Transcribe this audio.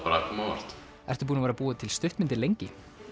óvart ertu búin að vera búa til stuttmyndir lengi